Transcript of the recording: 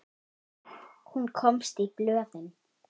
Hún komst í blöðin.